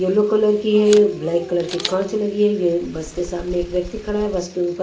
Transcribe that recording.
yellow colour की है black colour की कांच लगी हुई है बस के सामने एक व्यक्ति खड़ा है बस के ऊपर--